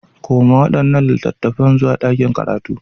Koma waɗannan littattafan zuwa ɗakin karatu.